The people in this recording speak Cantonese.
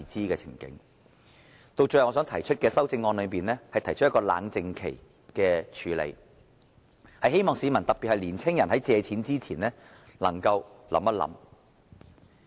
最後，在我的修正案中，我提出了冷靜期的處理安排，希望市民在借貸前可以再想一想。